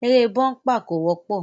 Eré búḿpà kò wọ́pọ̀